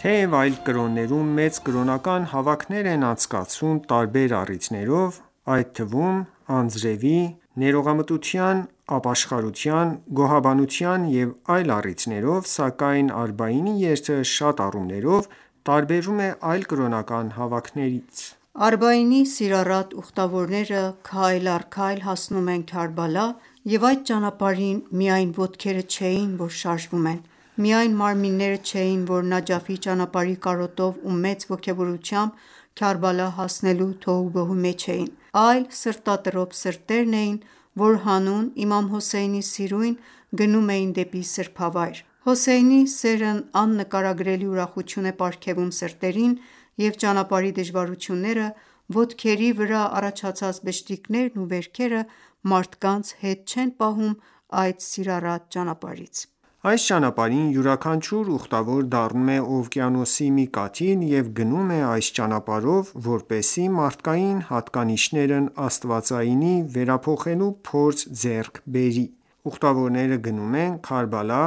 Թեև այլ կրոններում մեծ կրոնական հավաքներ են անցկացվում տարբեր առիթներով՝ այդ թվում՝ անձրևի, ներողամտության, ապաշխարության, գոհաբանության և այլ առիթներով, սակայն Արբաինի երթը շատ առումներով տարբերվում է այլ կրոնական հավաքներից: Արբաինի սիրառատ ուխտավորները քայլ առ քայլ հասնում են Քարբալա և այդ ճանապարհին միայն ոտքերը չէին, որ շարժվում են, միայն մարմինները չն, որ Նաջաֆի ճանապարհի կարոտով ու մեծ ոգևորությամբ Քարբալա հասնելու թոհուբոհի մեջ էին, այլ սրտատրոփ սրտերն էին, որ հանուն Իմամ Հոսեյնի սիրույն, գնում էին դեպի սրբավայր: Հոսեյնի սերն աննկարագրելի ուրախություն է պարգևում սրտերին, և ճանապարհի դժվարությունները, ոտքերի վրա առաջացած բշտիկներն ու վերքերը մարդկանց հետ չեն պահում այդ սիրառատ ճանապարհից: Այս ճանապարհին յուրաքանչյուր ուխտավոր դառնում է օվկիանոսի մի կաթիլ և գնում է այս ճանապարհով, որպեսզի մարդկային հատկանիշներն աստվածայինի վերափոխելու փորձ ձեռք բերի: Ուխտավորները գնում են Քարբալա՝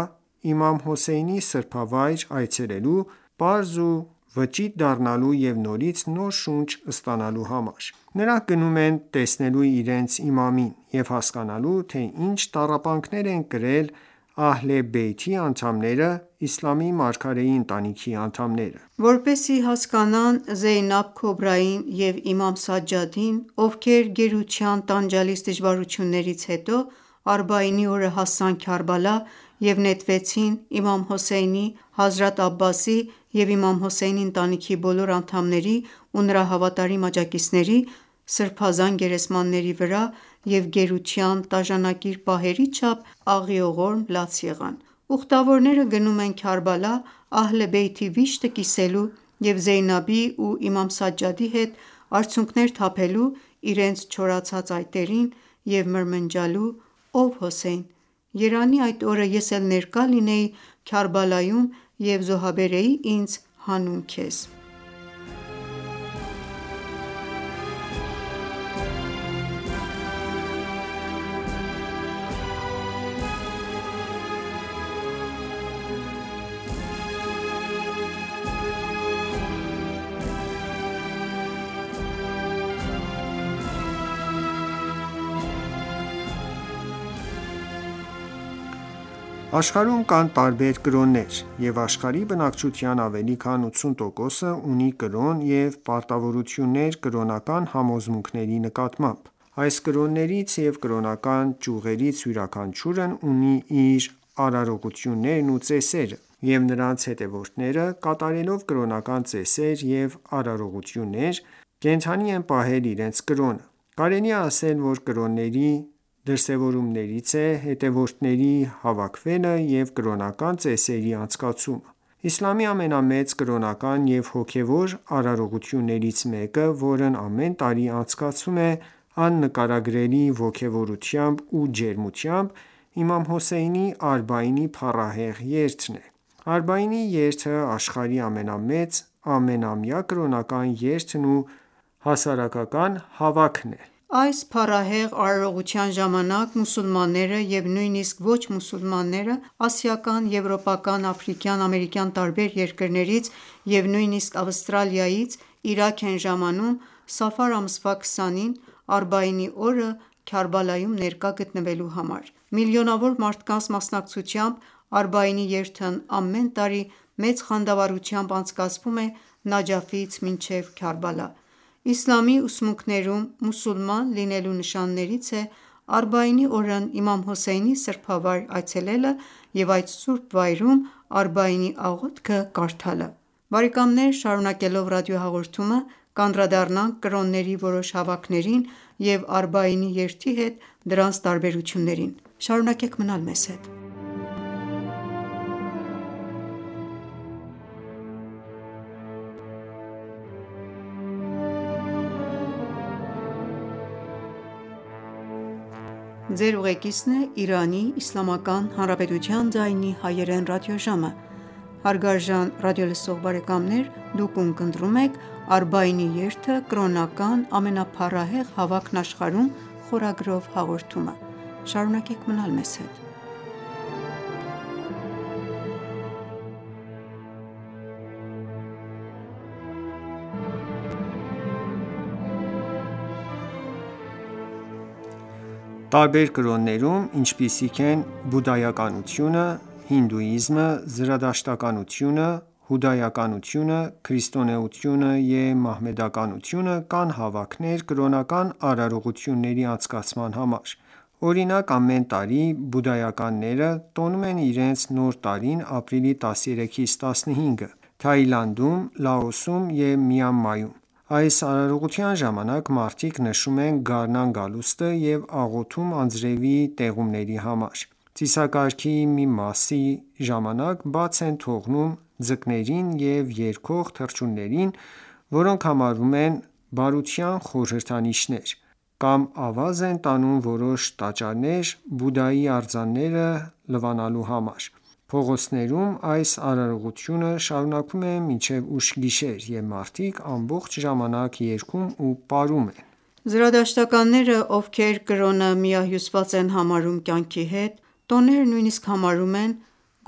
իմամ Հոսեյնի սրբավայր այցելելու, պարզ ու վճիտ դառնալու և նորից նոր շունչ ստանալու համար: Նրանք գնում են տեսնելու իրենց իմամին և հասկանալու, թե ինչ տառապանքներ են կրել Ահլ-ե Բեյթի անդամները (իսլամի մարգարեի ընտանիքի անդամները): Որպեսզի հասկանան Զեյնաբ Քոբրային և Իմամ Սաջադին, ովքեր գերության տանջալից դժվարություններից հետո Արբաինի օրը հասան Քարբալա և նետվեցին Իմամ Հոսեյնի, Հազրաթ Աբասի և իմամ Հոսեյնի ընտանիքի բոլոր անդամների ու նրա հավատիմ աջակցիների սուրբ գերեզմանների վրա և գերության տաժանակիր պահերի չափ աղիողորմ լաց եղան: Ուխտավորները գնում են Քարբալա Ահլ-ե Բեյթի վիշտը կիսելու, և Զեյնաբի ու Իմամ Սաջադի հետ արցունքներ թափելու իրենց չորացած այտերին և մրմնջալու. «Ո՛վ Հոսեյն, երանի այդ օրը ես էլ ներկա լինեի Քարբալայում և զոհաբերեի ինձ հանուն Քեզ»: Աշխարհում կան տարբեր կրոններ, և աշխարհի բնակչության ավելի քան 80 տոկոսը ունի կրոն և պարտավորություններ կրոնական համոզմունքների նկատմամբ: Այս կրոններից և կրոնական ճյուղերից յուրաքանչյուրն ունի իր արարողություններն ու ծեսերը, և նրանց հետևորդները կատարելով կրոնական ծեսեր և արարողություններ, կենդանի են պահել իրենց կրոնը: Կարելի է ասել, որ կրոնների դրսեւորումներից է հետևորդների հավաքվելը եւ կրոնական ծեսերի անցկացումը։ Իսլամի ամենամեծ կրոնական և հոգևոր արարողություններից մեկը, որն ամեն տարի անցկացվում է աննկարագրելի ոգևորությամբ ու ջերմությամբ, իմամ Հոսեյնի Արբաինի փառահեղ երթն է: Արբաինի երթը աշխարհի ամենամեծ ամենամյա կրոնական երթն ու հասարակական հավաքն է: Այս փառահեղ արարողության ժամանակ մուսուլմանները և նույնիսկ ոչ մուսուլմաններ ասիական, եվրոպական, աֆրիկյան, ամերիկյան տարբեր երկրներից և նույնիսկ Ավստրալիայից Իրաք են ժամանում՝ Սաֆար ամսվա 20-ին՝ Արբաինի օրը Քարբալայում ներկա գտնվելու համար: Միլիոնավոր մարդկանց մասնակցությամբ Արբաինի երթն ամեն տարի մեծ խանդավառությամբ անցկացվում է Նաջաֆից մինչև Քարբալա: Իսլամի ուսմունքներում մուսուլման լինելու նշաններից է Արբայինի օրն իմամ Հոսեյնի սրբավայր այցելելը և այդ սուրբ վայրում Արբաինի աղոթքը կարդալը: Շարունակելով ռադիոհաղորդումը, կանդրադառնանք կրոնների որոշ հավաքներին և Արբաինի երթի հետ դրանց տարբերություններին: Մնացեք մեզ հետ: Տարբեր կրոններում, ինչպիսիք են բուդդայականությունը, հինդուիզմը, զրադաշտականությունը, հուդայականությունը, քրիստոնեությունը և մահմեդականությունը, կան հավաքներ կրոնական արարողությունների անցկացման համար: Օրինակ, ամեն տարի բուդդայականները տոնում են իրենց Նոր տարին ապրիլի 13-ից 15-ը Թաիլանդում, Լաոսում և Մյանմարում։ Այս արարողության ժամանակ մարդիկ նշում են գարնան գալուստը և աղոթում անձրևի տեղումների համար։ Ծիսակարգի մի մասի ժամանակ բաց են թողնում ձկներին և երգող թռչուններին, որոնք համարվում են բարության խորհրդանիշներ: Կամ ավազ են տանում որոշ տաճարներ Բուդդայի արձանները լվանալու համար: Փողոցներում այս արարողությունը շարունակվում է մինչև ուշ գիշեր, և մարդիկ ամբողջ ժամանակ երգում ու պարում են: Զրադաշտականները, ովքեր կրոնը միահյուսված են համարում կյանքի հետ, տոները նույնիսկ համարում են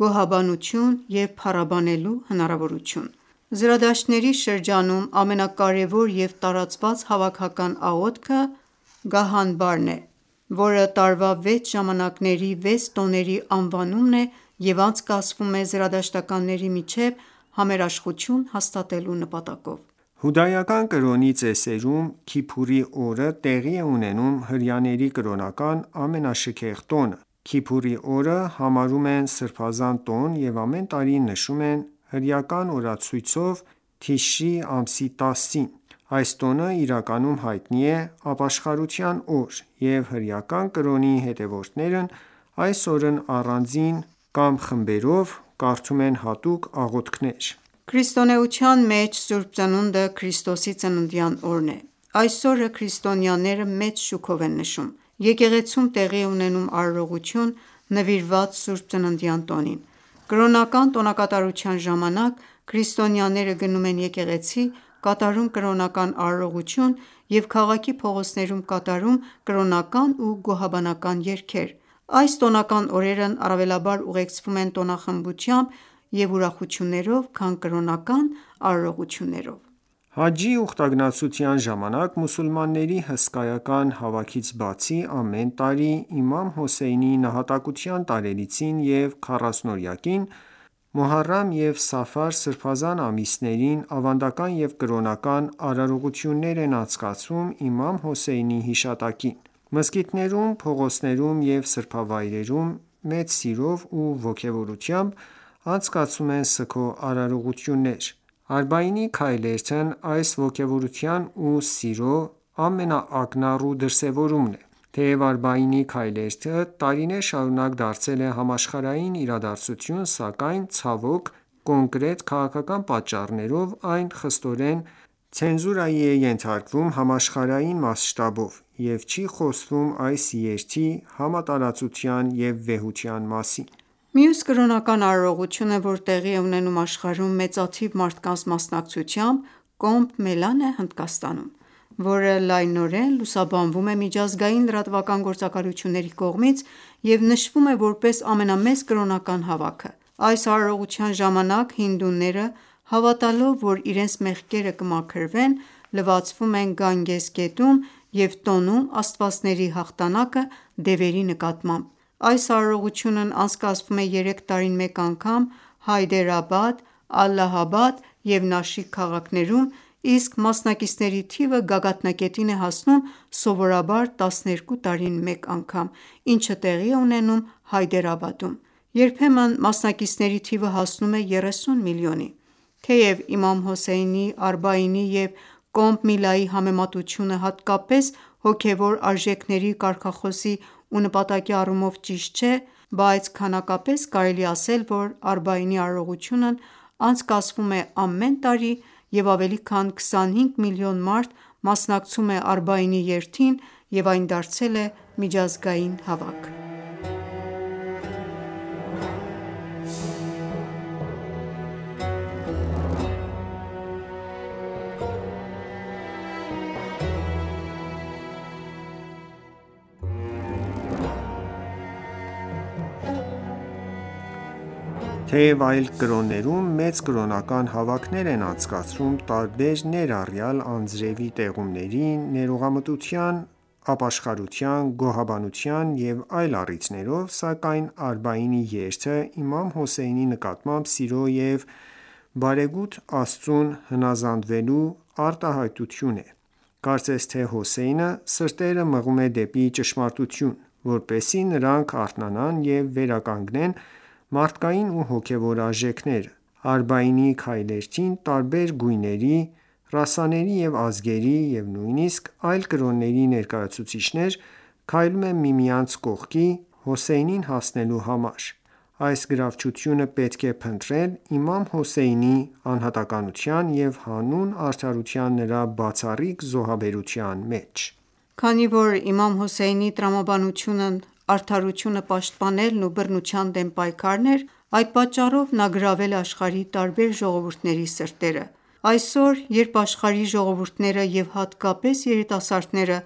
գոհաբանություն և փառաբանելու հնարավորություն: Զրադաշտների շրջանում ամենակարևոր և տարածված հավաքական աղոթքը «Գահանբար»-ն է, որը տարվա վեց ժամանակների վեց տոների անվանումն է և անցկացվում է զրադաշտականների միջև համերաշխություն հաստատելու նպատակով: Հուդայական կրոնի ծեսերում Քիփուրի օրը տեղի է ունենում հրեաների կրոնական ամենաշքեղ տոնը: Քիփուրի օրը համարում են սրբազան տոն և ամեն տարի նշում են հրեական օրացույցով թիշրի ամսի 10-ին: Այս տոնը իրականում հայտնի է ապաշխարության օր, և հրեական կրոնի հետևորդներն այս օրն առանձին ակմ խմբերով, կարդում են հատուկ աղոթքներ։ Քրիստոնեության մեջ Սուրբ Ծնունդը Քրիստոսի ծննդյան օրն է: Այս օրը քրիստոնյաները մեծ շուքով են նշում: Եկեղեցում տեղի է ունենում արարողություն նվիրված Սուրբ Ծննդյան տոնին: Կրոնական տոնակատարության ժամանակ քրիստոնյաները գնում են եկեղեցի, կատարում կրոնական արարողություն և քաղաքի փողոցներում կատարում կրոնական ու գոհաբանական երգեր: Այս տոնական օրերն առավելաբար ուղեկցվում են տոնախմբությամբ ու ուրախություններով, քան կրոնական արարողություններով: Հաջջի ուխտագնացության ժամանակ մուսուլմանների հսկայական հավաքից բացի, ամեն տարի Իմամ Հոսեյնի նահատակության տարելիցին և քառասնօրյակին Մուհարրամ և Սաֆար սրբազան ամիսներին ավանդական և կրոնական արարողություններ են անցկացվում իմամ Հոսեյնի հիշատակին։ Մզկիթներում, փողոցներում և սրբավայրերում մեծ սիրով ու ոգևորությամբ անցկացվում են սգո արարողություններ։ Արբաինի քայլերթն այս ոգևորության ու սիրո ամենաակնառու դրսևորումն է։ Թեև Արբաինի քայլերթը տարիներ շարունակ դարձել է համաշխարհային իրադարձություն, սակայն, ցավոք, կոնկրետ քաղաքական պատճառներով այն խստորեն ցենզուրայի է ենթարկվում համաշխարհային մասշտաբով, և չի խոսվում այս երթի համատարածության ու վեհության մասին։ Մյուս կրոնական արարողությունը, որ տեղի է ունենում աշխարհում մեծաթիվ մարդկանց մասնակցությամբ՝ Կոմբ Մելան է Հնդկաստանում, որը լայնորեն լուսաբանվում է միջազգային լրատվական գործակալությունների կողմից և նշվում է որպես ամենամեծ կրոնական հավաքը։ Այս արարողության ժամանակ հինդուները, հավատալով, որ իրենց մեղքերը կմաքրվեն, լվացվում են Գանգես գետում և տոնում աստվածների հաղթանակը դևերի նկատմամբ։ Այս արարողությունն անցկացվում է երեք տարին մեկ անգամ՝ Հայդերաբադ, Ալլահաբադ և Նաշիկ քաղաքներում, իսկ մասնակիցների թիվը գագաթնակետին է հասնում սովորաբար 12 տարին մեկ, ինչը տեղի է ունենում Հայդերաբադում: Երբեմնբ ամսնակիցների թիվը հասնում է 30 միլիոնի։ Թեև իմամ Հոսեյնիի Արբաինի և Կոմբ Միլայի համեմատությունը, հատկապես հոգևոր արժեքների, կարգախոսի ու նպատակի առումով, ճիշտ չէ, բայց քանակապես կարելի է ասել, որ Արբաինի արարողությունն անցկացվում է ամեն տարի և ավելի քան 25 միլիոն մարդ մասնակցում է Արբաինի երթին և այն դարձել է միջազգային հավաք։ Թեև այլ կրոններում մեծ կրոնական հավաքներ են անցկացվում տարբեր ներառյալ անձրևի տեղումների, ներողամտության, ապաշխարության, գոհաբանության և այլ առիթներով, սակայն Արբաինի երթը իմամ Հոսեյնի նկատմամբ սիրո և բարեգութ Աստծուն հնազանդվելու արտահայտություն է։ Կարծես թե Հոսեյնը սրտերը մղում է դեպի ճշմարտություն, որպեսզի նրանք արթնանան և վերականգնեն մարդկային ու հոգևոր արժեքները: Արբաինի քայլերթին տարբեր գույների, ռասաների ու ազգերի, և նույնիսկ այլ կրոնների ներկայացուցիչներ քայլում են միմյանց կողքի՝ Հոսեյնին հասնելու համար: Այս գրավչությունը պետք է փնտրել Իմամ Հոսեյնի անհատականության և հանուն արդարության նրա բացառիկ զոհաբերության մեջ: Քանի որ Իմամ Հոսեյնի տրամաբանությունն արդարությունը պաշտպանելն ու բռնության դեմ պայքարն էր, այդ պատճառով նա գրավել է աշխարհի տարբեր ժողովուրդների սրտերը։ Այսօր, երբ աշխարհի ժողովուրդները և հատկապես երիտասարդները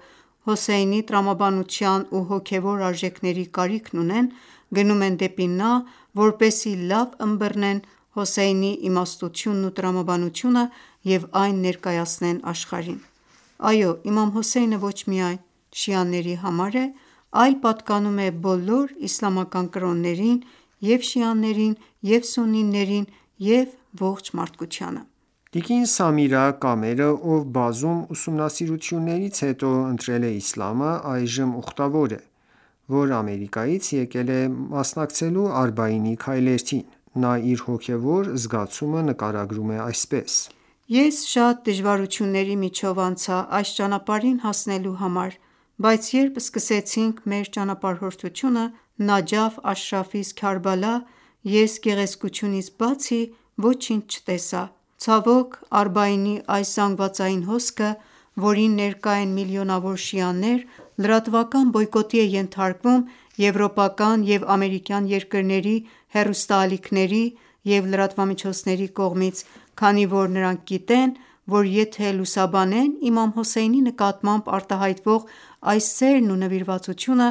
Հոսեյնի տրամաբանության ու հոգևոր աևժեքների կարիքն ունեն, գնում են դեպի նա, որպեսզի լավ ըմբռնեն Հոսեյնի իմաստությունն ու տրամաբանությունը և այն ներկայացնեն աշխարհին։ Այո, Իմամ Հոսեյնը ոչ միայն շիաների համար է, այլ պատկանում է բոլոր իսլամական կրոններին, և՛ շիաներին, և՛ սուննիներին, և ողջ մարդկությանը: Տիկին Սամիրա Կամերը, ով բազում ուսումնասիրություններից հետո ընտրել է իսլամը, այժմ ուխտավոր է, որ Ամերիկայից եկել է մասնակցելու Արբաինի քայլերթին։ Նա իր հոգևոր զգացումը նկարագրում է այսպես. «Ես շատ դժվարությունների միջով անցա այս ճանապարհին հասնելու համար, բայց երբ սկսեցինք մեր ճանապարհորդությունը Նաջաֆ Աշրաֆից Քարբալա, ես գեղեցկությունից բացի ոչինչ չտեսա: Ցավոք, Արբաինի այս զանգվածային հոսքը, որին ներկա են միլիոնավոր շիաներ, լրատվական բոյկոտի է ենթարկվում եվրոպական և ամերիկյան երկրների հեռուստաալիքների և լրատվամիջոցների կողմից, քանի որ նրանք գիտեն, որ եթե լուսաբանեն իմամ Հոսեյնի նկատմամբ արտահայտվող այս սերն ու նվիրվածությունը,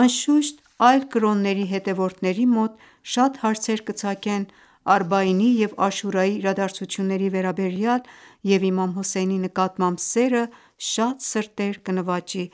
անշուշտ այլ կրոնների հետևորդների մոտ շատ հարցեր կծագեն Արբաինի և Աշուրայի իրադարձությունների վերաբերյալ և իմամ Հոսեյնի նկատմամբ սերը շատ սրտեր կնվաճի»։